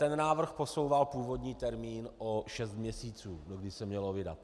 Ten návrh posouval původní termín o šest měsíců, dokdy se mělo vydat.